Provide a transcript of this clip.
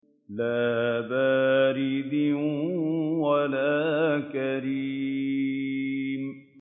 لَّا بَارِدٍ وَلَا كَرِيمٍ